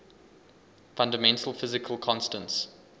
fundamental physical constants